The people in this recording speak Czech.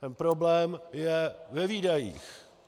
Ten problém je ve výdajích.